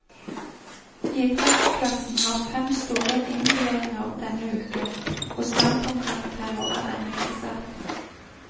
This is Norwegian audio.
Idrettsklassen har fem store innleveringer denne uken, og standpunktkarakterer er ennå ikke satt.